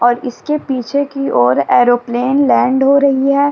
और इसके पीछे की और एयरोप्लेन लैंड हो रही है।